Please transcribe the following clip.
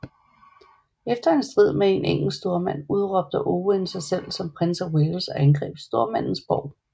Efter en strid med en engelsk stormand udråbte Owain sig selv som prins af Wales og angreb stormandens borg